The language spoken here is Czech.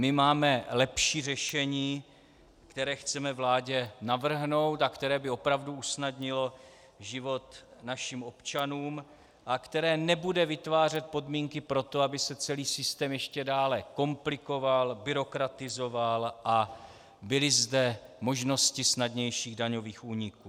My máme lepší řešení, které chceme vládě navrhnout a které by opravdu usnadnilo život našim občanům a které nebude vytvářet podmínky pro to, aby se celý systém ještě dále komplikoval, byrokratizoval a byly zde možnosti snadnějších daňových úniků.